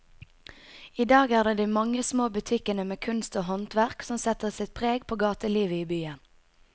I dag er det de mange små butikkene med kunst og håndverk som setter sitt preg på gatelivet i byen.